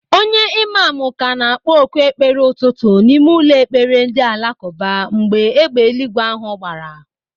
Onye imamu ka na-akpọ oku ekpere ụtụtụ n'ime ụlọ ekpere ndị alakụba mgbe égbè eluigwe ahụ gbaara.